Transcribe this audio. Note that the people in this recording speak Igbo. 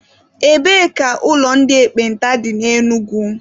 Ebee ka ụlọ ndị ekpenta dị na Enugu?